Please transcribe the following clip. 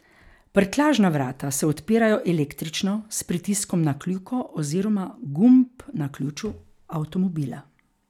Prtljažna vrata se odpirajo električno s pritiskom na kljuko oziroma gumb na ključu avtomobila.